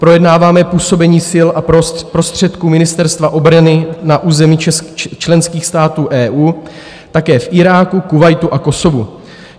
Projednáváme působení sil a prostředků Ministerstva obrany na území členských států EU, také v Iráku, Kuvajtu a Kosovu.